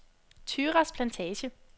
Thyras Plantage